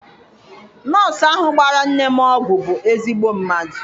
Nọọsụ ahụ gbara nne m ọgwụ bụ ezigbo mmadụ.